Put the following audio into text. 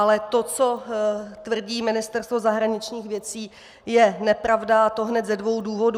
Ale to, co tvrdí Ministerstvo zahraničních věcí, je nepravda, a to hned ze dvou důvodů.